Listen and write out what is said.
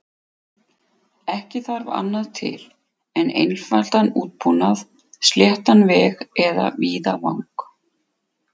Ekki þarf annað til en einfaldan útbúnað, sléttan veg eða víðavang.